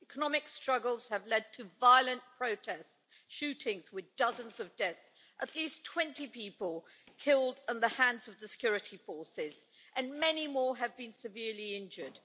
Economic struggles have led to violent protests and shootings with dozens of deaths, at least 20 people killed at the hands of the security forces, and many more have been severely injured.